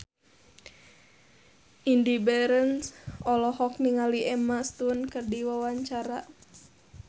Indy Barens olohok ningali Emma Stone keur diwawancara